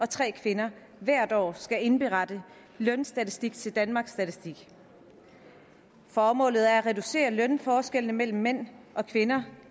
tre er kvinder hvert år skal indberette lønstatistik til danmarks statistik formålet er at reducere lønforskellene mellem mænd og kvinder